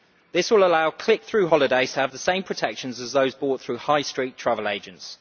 This will allow click through holidays to have the same protection as those bought through high street travel agents.